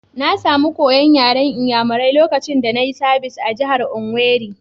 Na samu koya'n yaren n'yamarai lokacin da na yi sabis a'jihar Owerri.